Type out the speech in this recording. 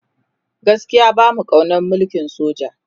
gaskia bamu kaunan mulkin soja